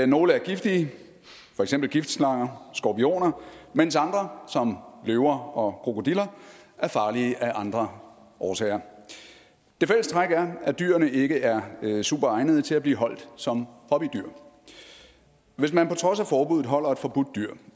nogle er giftige for eksempel giftslanger skorpioner mens andre som løver og krokodiller er farlige af andre årsager det fælles træk er at dyrene ikke er super egnede til at blive holdt som hobbydyr hvis man på trods af forbuddet holder et forbudt dyr